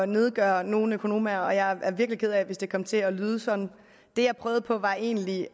nedgøre nogen økonomaer og jeg er virkelig ked af det hvis det kom til at lyde sådan det jeg prøvede på var egentlig